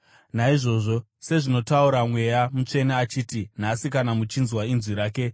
Naizvozvo, sezvinotaura Mweya Mutsvene achiti: “Nhasi, kana muchinzwa inzwi rake,